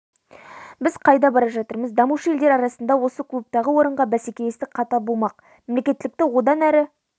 біз қайда бара жатырмыз дамушы елдер арасында осы клубтағы орынға бәсекелестік қатал болмақ мемлекеттілікті одан әрі